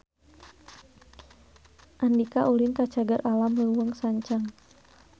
Andika ulin ka Cagar Alam Leuweung Sancang